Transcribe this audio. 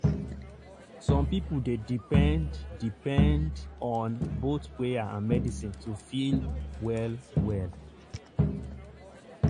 some people dey depend depend on both prayer and medicine to feel well well.